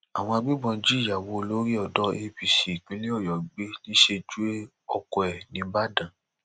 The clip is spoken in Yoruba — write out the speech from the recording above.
àwọn agbébọn jí ìyàwó olórí odò apc ìpínlẹ ọyọ gbé níṣẹjú oko ẹ nìbàdàn